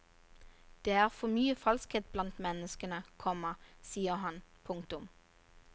Det er for mye falskhet blant menneskene, komma sier han. punktum